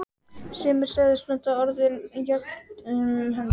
Sumir sögðust nota orðin jöfnum höndum.